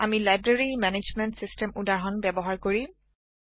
আমি library management system উদাহৰণ ব্যবহাৰ কৰিম